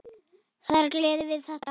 Það er gleðin við þetta.